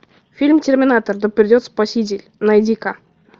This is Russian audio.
фильм терминатор да придет спаситель найди ка